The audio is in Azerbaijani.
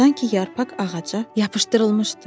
Sanki yarpaq ağaca yapışdırılmışdı.